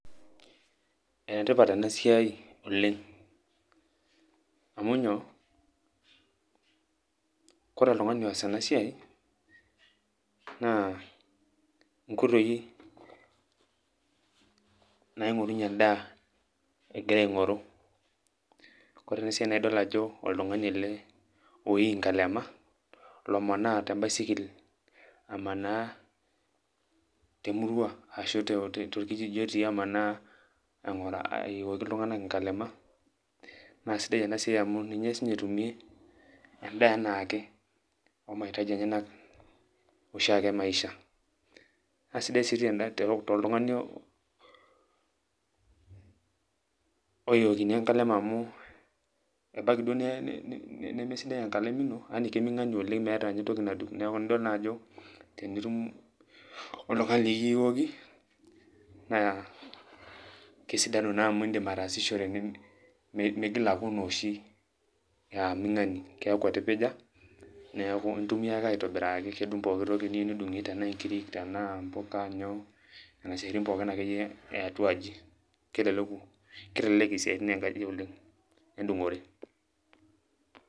Enetipat enasiai oleng',amu nyoo, kore oltung'ani oas enasiai, naa inkoitoii naing'orunye endaa egira aing'oru. Kore na si ena na idol ajo oltung'ani ele oii nkalema, omanaa tebaisikil, amanaa temurua ashu torkijiji otii amanaa, aiyioki iltung'anak inkalema. Na sidai enasiai amu ninye sinye etumie endaa enaake,o mahitaji enyanak oshiake emaisha. Nasidai si toltung'ani oiyiokini enkalem amu, ebaiki duo nemesidai enkalem ino, yani keming'ani oleng' meeta entoki nadung',neku idol najo tenitum oltung'ani likiiyioki, naa kesidanu naa amu iidim ataasishore migil aku enooshi, aming'ani. Keeku etipija, neeku intumia ake aitobiraki, kedung' pooki toki niyieu nidung'ie, tenaa nkirik, tenaa mpuka, nyoo, nena siaitin akeyie eatua aji. Kitelelek isiaitin enkaji oleng',edung'ore.